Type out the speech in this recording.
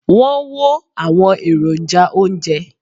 wón wo àwọn èròjà ounjẹ